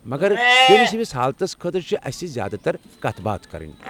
مگر چٲنِس ہِوِس حالتس خٲطرٕ چھِ اسہِ زیادٕ تر کتھ باتھ کرٕنۍ۔